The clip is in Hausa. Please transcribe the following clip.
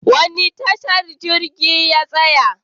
Wani tasha jirgin ya tsaya?